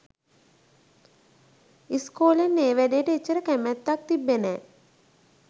ඉස්කෝලෙන් ඒ වැඩේට එච්චර කැමැත්තක් තිබ්බෙ නෑ